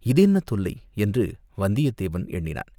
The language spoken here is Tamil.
இது என்ன தொல்லை? என்று வந்தியத்தேவன் எண்ணினான்.